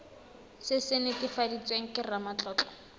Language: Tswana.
se se netefaditsweng ke ramatlotlo